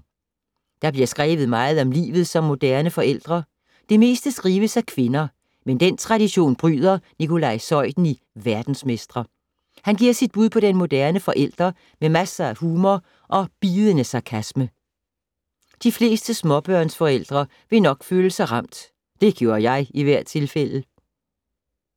Der bliver skrevet meget om livet som moderne forældre. Det meste skrives af kvinder, men den tradition bryder Nikolaj Zeuthen i Verdensmestre. Han giver sit bud på den moderne forælder med masser af humor og bidende sarkasme. De fleste småbørnsforældre vil nok føle sig ramt. Det gjorde jeg i hvert tilfælde!